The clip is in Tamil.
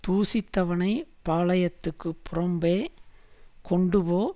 தூஷித்தவனைப் பாளயத்துக்குப் புறம்பே கொண்டுபோ